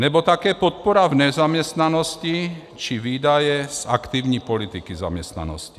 Nebo také podpora v nezaměstnanosti či výdaje z aktivní politiky zaměstnanosti.